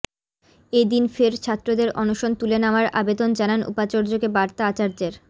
এদিন ফের ছাত্রদের অনশন তুলে নেওয়ার আবেদন জানান উপাচার্যকে বার্তা আচার্যের